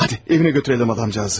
Hadi, evinə götürəlim adamcağızı.